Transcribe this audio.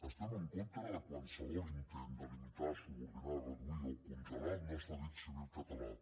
estem en contra de qualsevol intent de limitar subordinar reduir o congelar el nostre dret civil català